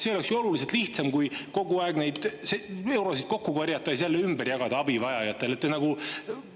See oleks ju oluliselt lihtsam kui kogu aeg eurosid kokku korjata ja siis jälle abivajajatele ümber jagada.